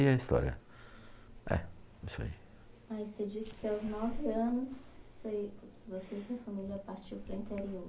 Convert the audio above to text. a história. É, isso aí. Mas, você disse que aos nove anos, você você e sua família partiu para o interior.